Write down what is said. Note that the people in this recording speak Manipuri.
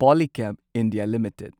Polycab India limited